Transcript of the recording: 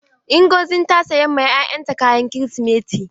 Nzogi ta sayan ma ƴaƴan ta kayan kirisimeti.